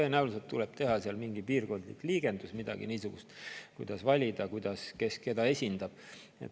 Tõenäoliselt tuleb teha seal mingi piirkondlik liigendus, midagi niisugust, ja valida, kes keda esindab.